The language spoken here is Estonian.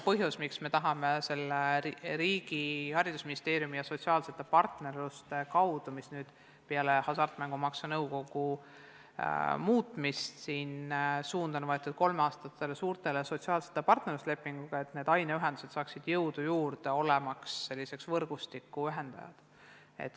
Põhjus, miks me tahame seda teha riigi, haridusministeeriumi ja sotsiaalsete partnerluste kaudu, on see, et peale hasartmängumaksu nõukogu muutmist on võetud suund kolmeaastastele suurtele sotsiaalsetele partnerluslepingutele, et need aineühendused saaksid jõudu juurde, olemaks selliseks võrgustiku ühendajaks.